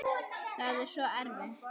Það var svo erfitt.